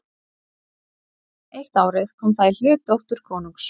Eitt árið kom það í hlut dóttur konungs.